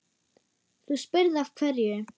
Þú spyrð af hverju.